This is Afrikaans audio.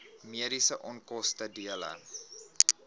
mediese onkoste dele